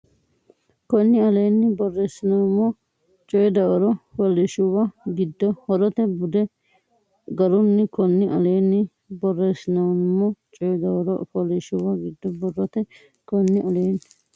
Konni aleenni borreessinoommo coy Dawaro fooliishshuwa giddo borrote bude garunni Konni aleenni borreessinoommo coy Dawaro fooliishshuwa giddo borrote Konni aleenni.